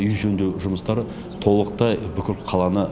үй жөндеу жұмыстары толықтай бүкіл қаланы